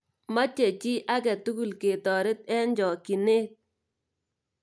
Moche chii agetugul ketoret eng chokchinee.